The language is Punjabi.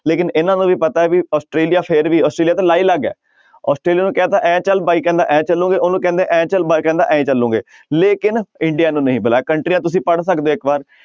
ਲੇਕਿੰਨ ਇਹਨਾਂ ਨੂੰ ਵੀ ਪਤਾ ਹੈ ਵੀ ਆਸਟ੍ਰੇਲੀਆ ਫਿਰ ਵੀ ਆਸਟ੍ਰੇਲੀਆ ਤਾਂ ਲਾਈਲੱਗ ਹੈ ਆਸਟ੍ਰੇਲੀਆ ਨੂੰ ਕਹਿ ਦਿੱਤਾ ਇਉਂ ਚੱਲ ਬਾਈ ਕਹਿੰਦਾ ਇਉਂ ਚੱਲੋਗੇ, ਉਹਨੂੰ ਕਹਿੰਦੇ ਇਉਂ ਚੱਲ ਬਾਈ ਕਹਿੰਦਾ ਇਉਂ ਚੱਲੋਗੇ ਲੇਕਿੰਨ ਇੰਡੀਆ ਨੂੰ ਨਹੀਂ ਬੁਲਾਇਆ ਕੰਟਰੀਆਂ ਤੁਸੀਂ ਪੜ੍ਹ ਸਕਦੇ ਹੋ ਇੱਕ ਵਾਰ,